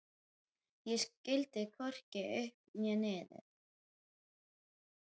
Ég skildi hvorki upp né niður.